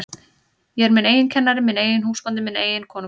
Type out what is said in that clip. Ég er minn eigin kennari, minn eigin húsbóndi, minn eigin konungur.